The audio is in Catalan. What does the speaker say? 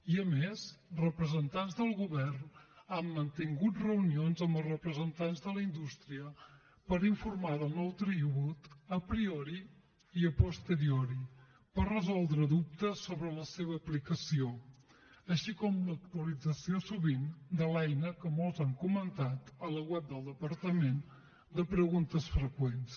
i a més representants del govern han mantingut reunions amb els representants de la indústria per informar del nou tribut a priori i a posteriori per resoldre dubtes sobre la seva aplicació així com l’actualització sovint de l’eina que molts han comentat a la web del departament de preguntes freqüents